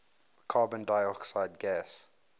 carbon dioxide gas